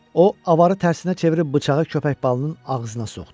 O, avarı tərsinə çevirib bıçağı köpək balının ağzına soxdu.